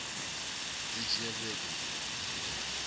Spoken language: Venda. dzi dzhia vhege nṋa uya